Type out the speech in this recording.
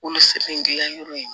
Wolosɛbɛn dilan yɔrɔ in